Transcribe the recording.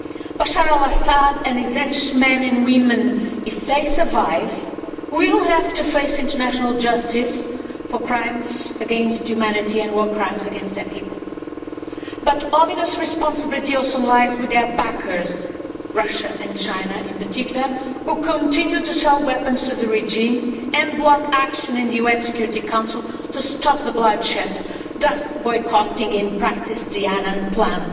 Bashar al Assad and his henchmen and women, if they survive, will have to face international justice for crimes against humanity and war crimes against their people, but ominous responsibility also lies with their backers, Russia and China in particular, who continue to sell weapons to the regime and block action in the UN Security Council to stop the bloodshed, thus boycotting in practice the Annan Plan.